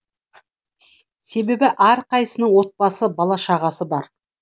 себебі әрқайсысының отбасы бала шағасы бар